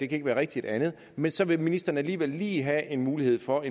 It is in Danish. kan ikke være rigtigt men så vil ministeren alligevel lige have en mulighed for at